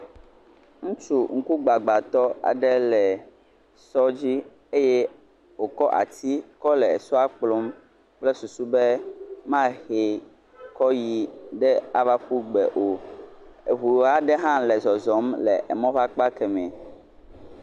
Ŋutsu ŋkugbagbatɔ aɖe le sɔ dzi eye wòkɔ ati kɔ le sɔa kplɔm kple susu be mahee kɔ yi ava ƒu gbe o, eŋu aɖe hã le zɔzɔm le emɔa ƒe akpa keme